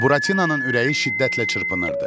Buratinanın ürəyi şiddətlə çırpınırdı.